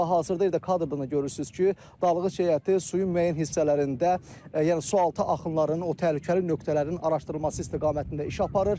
Və hazırda elə kadrda da görürsünüz ki, dalğıc heyəti suyun müəyyən hissələrində, yəni sualtı axınlarının o təhlükəli nöqtələrinin araşdırılması istiqamətində iş aparır.